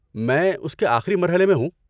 میں اس کے آخری مرحلے میں ہوں۔